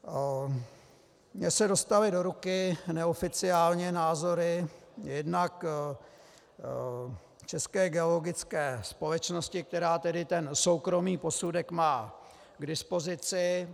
Mně se dostaly do ruky neoficiálně názory jednak České geologické společnosti, která tedy ten soukromý posudek má k dispozici.